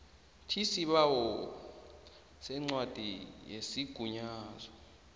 tisibawo sencwadi yesigunyazo